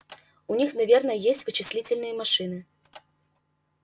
у них наверное есть вычислительные машины